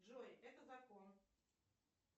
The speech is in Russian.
джой это закон